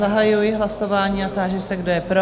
Zahajuji hlasování a táži se, kdo je pro?